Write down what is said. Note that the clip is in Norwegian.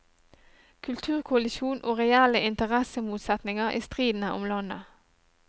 Kulturkollisjon og reelle interessemotsetninger i striden om landet.